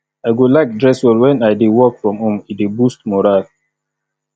i go like dress well wen i dey work from home e dey boost morale